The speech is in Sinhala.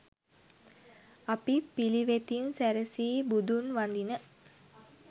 අපි පිළිවෙතින් සැරසී බුදුන් වඳින